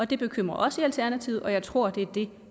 det bekymrer os i alternativet og jeg tror at det er det